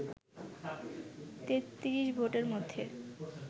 ৩৩ ভোটের মধ্যে